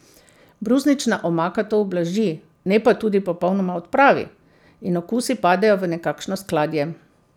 Brusnična omaka to ublaži, ne pa tudi popolnoma odpravi, in okusi padejo v nekakšno skladje.